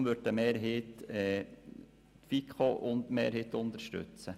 Deshalb wird eine Mehrheit der Fraktion die Planungserklärung der FiKo-Mehrheit unterstützen.